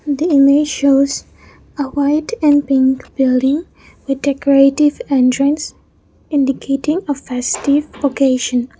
the image shows a white and pink building with decorative entrance indicating a festive occasion.